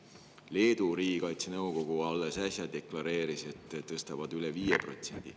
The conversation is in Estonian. Leedu riigikaitse nõukogu alles äsja deklareeris, et nemad tõstavad üle 5%.